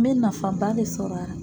N bɛ nafaba le sɔrɔ a la.